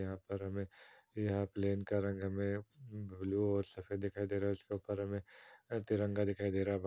यहाँ पर हमें यह प्लेन का रंग हमें ब्लू और सफ़ेद दिखाई दे रहा है। उसके ऊपर हमें तिरंगा दिखाई दे रहा है।